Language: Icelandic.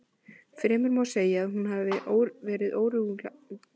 Fremur má segja að hún hafi verið órjúfanlega tengd siðfræði.